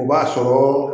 O b'a sɔrɔ